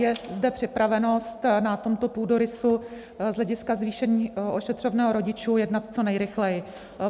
Je zde připravenost na tomto půdorysu z hlediska zvýšení ošetřovného rodičů jednat co nejrychleji.